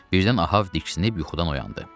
Birdən Ahav diksinib yuxudan oyandı.